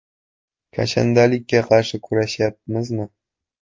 Kashandalikka qarshi kurashyapmizmi?